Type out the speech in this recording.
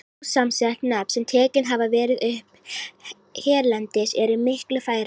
Ósamsett nöfn, sem tekin hafa verið upp hérlendis, eru miklu færri.